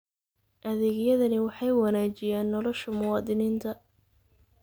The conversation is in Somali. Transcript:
Adeegyadani waxay wanaajiyaan nolosha muwaadiniinta.